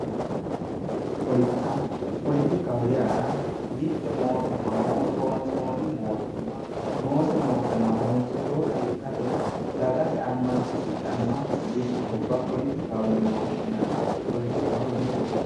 Politika, politika yaa mite mootumma, mootumma moottonsinonniti noose mootumma harunsiteyotta ikkate dagate dagase amasisidhano ikkitubba politikaho yinne woshshinanni